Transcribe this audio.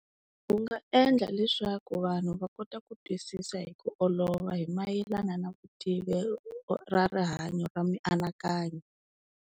U nga endla leswaku vanhu va kota ku twisisa hi ku olova hi mayelana na vutivi ra rihanyo ra mianakanyo.